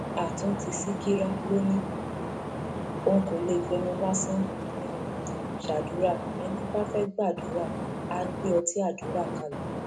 àtúntí ṣìkìrà ló ní um òun kò lè fẹnu lásán um ṣàdúrà ẹni bá fẹẹ gbàdúrà àá gbé ọtí àdúrà kalẹ